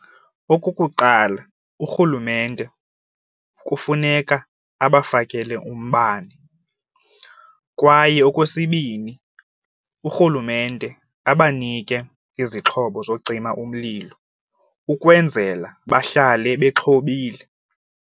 Okukuqala, urhulumente kufuneka abafakele umbane, kwaye okwesibini urhulumente abanike izixhobo zocima umlilo ukwenzela bahlale bexhobile.